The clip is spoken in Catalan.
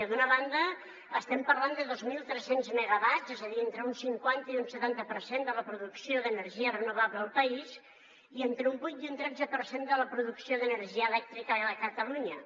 d’una banda estem parlant de dos mil tres cents megawatts és a dir entre un cinquanta i un setanta per cent de la producció d’energia renovable al país i entre un vuit i un tretze per cent de la producció d’energia elèctrica a catalunya